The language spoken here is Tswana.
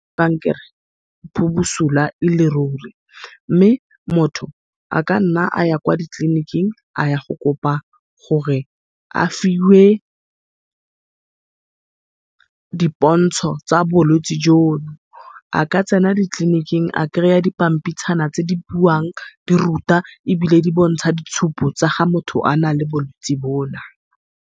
Kankere e busula ele ruri, mme motho a ka nna aya kwa ditleniking a ya go kopa gore a fiwe di pontsho tsa bolwetsi jono. A ka tsena ditleniking a kry-a dipampitshana tse di buang di ruta ebile di bontsha ditshupo tsa ga motho a na le bolwetse bona.